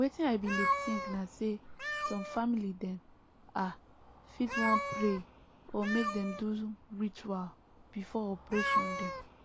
wetin i bin dey think na say some family dem ah fit wan pray or make dem do ritual before operation dem